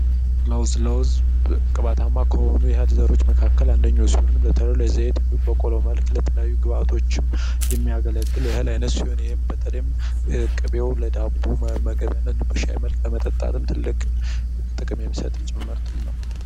ለውዝ ቅባታማ ከሆኑ እህሎች አንዱ ሲሆን በተለይ ለዘይት ግብዓቶች የሚያገለግል የእህል አይነት ሲሆን ይህም በተለይ ቅቤው ለዳቦ በሻይ መልክ ለመጠጥ ትልቅ ጥቅም የሚሰጥ ጭምርት ነው።